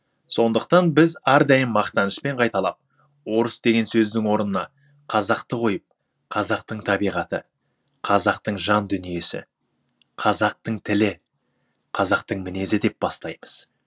сондықтан біз әрдайым мақтанышпен қайталап орыс деген сөздің орнына қазақты қойып қазақтың табиғаты қазақтың жан дүниесі қазактың тілі казақтың мінезі деп бастаймыз